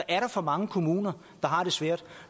er for mange kommuner der har det svært